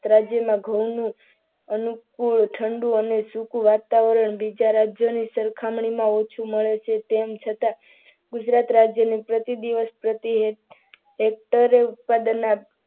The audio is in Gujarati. રાજ્યમાં ઘઉંનું અનુકૂળ ઠંડુ અને સુકુ વાતાવરણ બીજા રાજ્યની સરખામણીમાં ઓછું મળે છે. તેમ છતાં ગુજરાત રાજ્યની પ્રતિ દિવસ પ્રત્યેક હેક્ટર ઉત્પાદનમાં